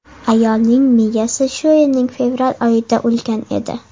Ayolning miyasi shu yilning fevral oyida o‘lgan edi.